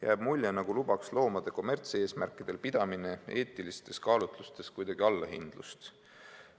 Jääb mulje nagu lubaks loomade kommertseesmärkidel pidamine eetilistes kaalutlustes allahindlust.